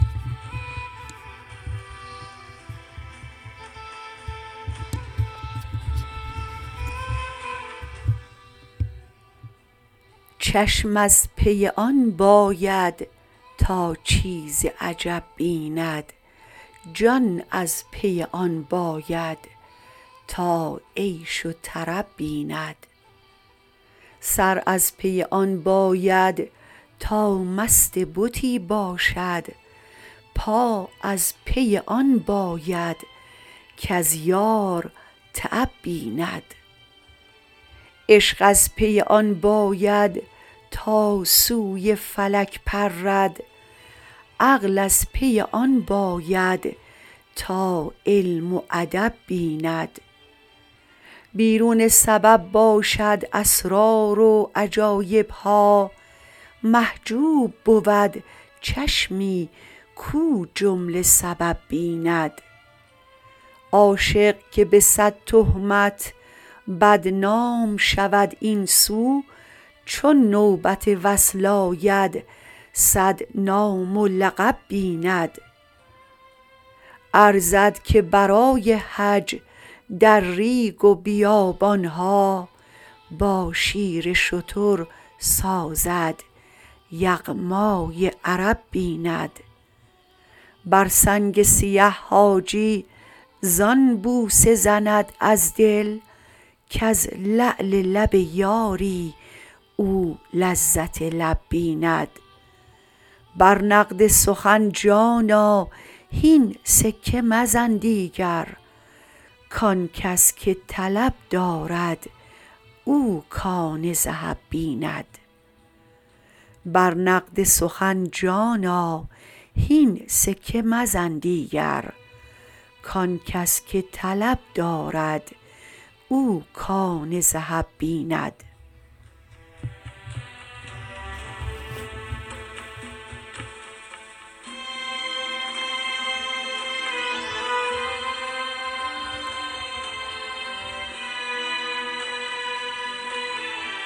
چشم از پی آن باید تا چیز عجب بیند جان از پی آن باید تا عیش و طرب بیند سر از پی آن باید تا مست بتی باشد پا از پی آن باید کز یار تعب بیند عشق از پی آن باید تا سوی فلک پرد عقل از پی آن باید تا علم و ادب بیند بیرون سبب باشد اسرار و عجایب ها محجوب بود چشمی کو جمله سبب بیند عاشق که به صد تهمت بدنام شود این سو چون نوبت وصل آید صد نام و لقب بیند ارزد که برای حج در ریگ و بیابان ها با شیر شتر سازد یغمای عرب بیند بر سنگ سیه حاجی زان بوسه زند از دل کز لعل لب یاری او لذت لب بیند بر نقد سخن جانا هین سکه مزن دیگر کان کس که طلب دارد او کان ذهب بیند